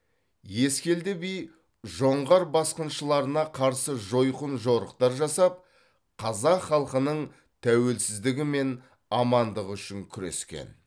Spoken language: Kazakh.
ескелді би жоңғар басқыншыларына қарсы жойқын жорықтар жасап қазақ халқының тәуелсіздігі мен амандығы үшін күрескен